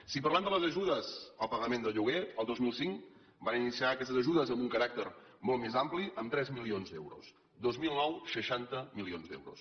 si parlem de les ajudes al pagament de lloguer el dos mil cinc es van iniciar aquestes ajudes amb un caràcter més ampli amb tres milions d’euros dos mil nou seixanta milions d’euros